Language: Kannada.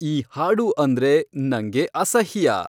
ಈ ಹಾಡು ಅಂದ್ರೆ ನಂಗೆ ಅಸಹ್ಯ